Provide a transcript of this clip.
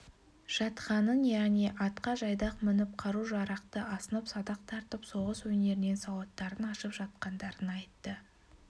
жатқанын яғни атқа жайдақ мініп қару-жарақты асынып садақ тартып соғыс өнерінен сауаттарын ашып жатқандарын айтты